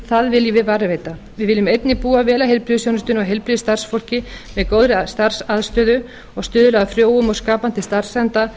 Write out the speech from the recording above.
það viljum við varðveita við viljum einnig búa vel að heilbrigðisþjónustunni og heilbrigðisstarfsfólki með góðri starfsaðstöðu og stuðla að frjóum og skapandi starfsanda